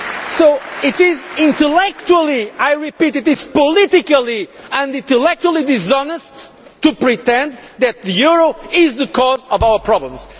So it is intellectually I repeat it is politically and intellectually dishonest to pretend that the euro is the cause of our problems.